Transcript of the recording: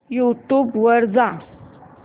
YouTube वर जा